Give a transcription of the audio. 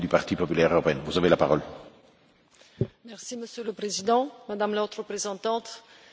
Monsieur le Président, Madame la Haute Représentante, merci de vos messages clairs et pertinents.